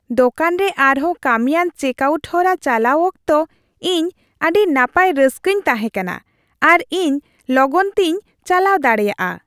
ᱫᱳᱠᱟᱱ ᱨᱮ ᱟᱨᱦᱚᱸ ᱠᱟᱹᱢᱤᱣᱟᱱ ᱪᱮᱠᱼᱟᱣᱩᱴ ᱦᱚᱨᱟ ᱪᱟᱞᱟᱣ ᱚᱠᱛᱚ ᱤᱧ ᱟᱹᱰᱤ ᱱᱟᱯᱟᱭ ᱨᱟᱹᱥᱠᱟᱹᱧ ᱛᱟᱦᱮᱸ ᱠᱟᱱᱟ , ᱟᱨ ᱤᱧ ᱞᱚᱜᱚᱱ ᱛᱤᱧ ᱪᱟᱞᱟᱣ ᱫᱟᱲᱮᱭᱟᱜᱼᱟ ᱾